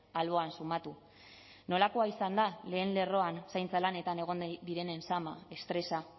alboan sumatu nolakoa izan da lehen lerroan zaintza lanetan egon nahi direnen zama estresa